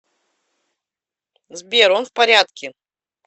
сбер он в порядке